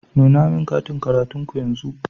Nuna min katin karatun ku yanzu.